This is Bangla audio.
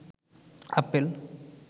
আপেল